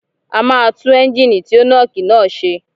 A máa tú Ẹ́ńgìnì tí ó nọ́ọ̀kì náà ṣe